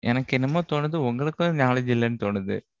எனக்கு என்னமோ தோணுது. உங்களுக்கும், knowledge இல்லைன்னு தோணுது